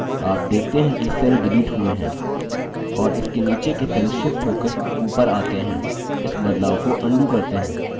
आप देखते हैं कि cell shift हुए हैं और इसके नीचे के cell shift होकर ऊपर आता हैं इस बदलाव को अन्डू करते हैं